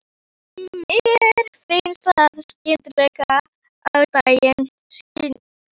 Mér finnst það skyggja á daginn.